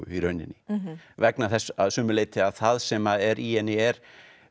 í rauninni vegna þess að sumu leyti að það sem að er í henni er